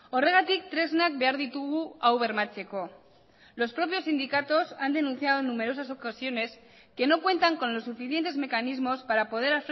horregatik tresnak behar ditugu hau bermatzeko los propios sindicatos han denunciado en numerosas ocasiones que no cuentan con los suficientes mecanismos para poder